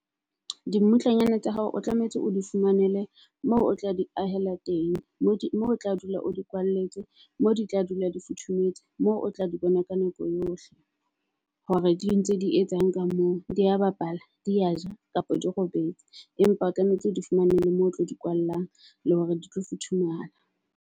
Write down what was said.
Dimmutlanyana tsa hao o tlametse o di fumanele moo o tla di ahela teng. Mo di moo o tla dula o di kwalletswe moo di tla dula di futhumetsa. Moo o tla di bona ka nako eo ohle, hore di ntse di etsang ka moo, dia bapala di a ja kapa di robetse. Empa o tlametse o di fumane le moo o tlo di kwallang, le hore di tlo futhumala.